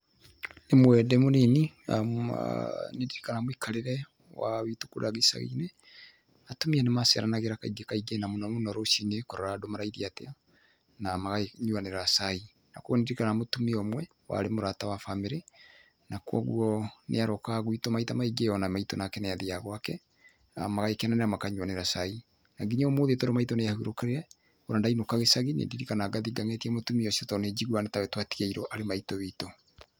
Rĩmwe ndĩ mũnini, aah nĩndirikanaga mũikarĩre, waa, witũ kũrĩa gĩcaginĩ, atumia nĩmaceranagĩra kaingĩ kaingĩ na mũno mũno rũcinĩ, kũrora andũ marairie atĩa, na magakĩnyuanĩra cai. Na kuoguo nĩndirikanaga mũtumia ũmwe, warĩ mũrata wa family, na kuoguo, nĩarokaga guitũ maita maingĩ na maitũ onake nĩathiaga gwake, na magagĩkenanĩra na magakĩnyuanĩra cai. Na nginya ũmũthĩ ũyũ tondũ maitũ nĩahurũkire, ona ndainũka gĩcagi, nĩndirikanaga na ngathiĩ ngang'etia mũtumia ũcio, tondũ nĩnjiguaga nĩtake twatigĩiruo arĩ maitũ witũ.